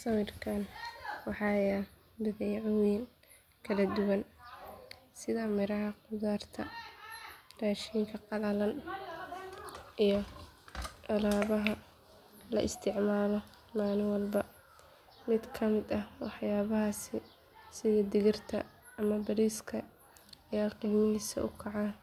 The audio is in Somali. Sawirkaan waxaa yaal badeecooyin kala duwan sida miraha khudaarta raashinka qalalan iyo alaabaha la isticmaalo maalin walba mid ka mid ah waxyaabahaasi sida digirta ama bariiska ayaa qiimihiisu u kacayaa